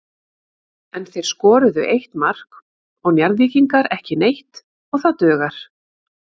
En þeir skoruðu eitt mark og Njarðvíkingar ekki neitt og það dugar.